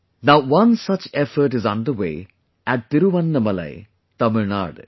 Now one such effort is underway at Thiruvannamalai, Tamilnadu